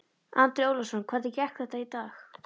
Andri Ólafsson: Hvernig gekk þetta í dag?